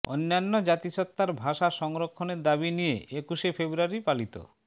অন্যান্য জাতিসত্তার ভাষা সংরক্ষণের দাবি নিয়ে একুশে ফেব্রুয়ারি পালিত